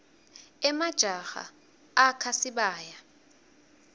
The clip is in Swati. emajaha akha sibaya